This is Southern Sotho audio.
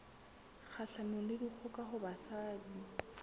kgahlanong le dikgoka ho basadi